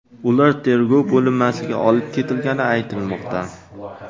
Ular tergov bo‘linmasiga olib ketilgani aytilmoqda.